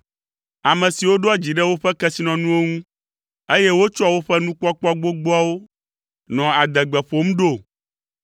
ame siwo ɖoa dzi ɖe woƒe kesinɔnuwo ŋu, eye wotsɔa woƒe nukpɔkpɔ gbogboawo nɔa adegbe ƒom ɖo?